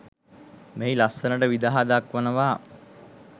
මෙහි ලස්සනට විදහා දක්වනවා.